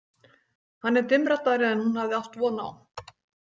Hann er dimmraddaðri en hún hafði átt von á.